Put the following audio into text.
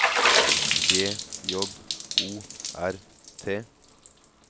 G J O R T